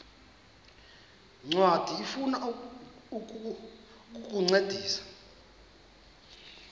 ncwadi ifuna ukukuncedisa